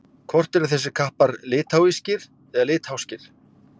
Hvort eru þessir kappar litháískir eða litháskir?